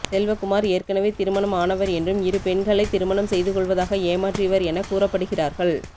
செல்வக்குமார் ஏற்கனவே திருமணம் ஆனவர் என்றும் இரு பெண்களை திருமணம் செய்து கொள்வதாக ஏமாற்றியவர் என கூறப்படுகிறார்கள்